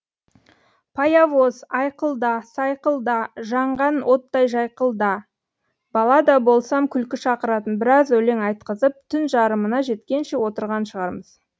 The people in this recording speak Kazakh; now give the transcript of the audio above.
паявоз айқылда сайқылда жанған оттай жайқылда бала да болсам күлкі шақыратын біраз өлең айтқызып түн жарымына жеткенше отырған шығармыз